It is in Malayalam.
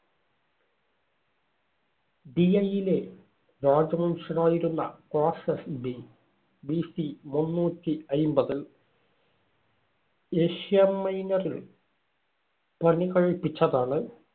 ഡിലയിലെ രാജ വംശമായിരുന്ന ക്രോസസ് BBC മുന്നൂറ്റി അയ്‌മ്പതില് ഏഷ്യാമൈനറിൽ പണികഴിപ്പിച്ചതാണ്.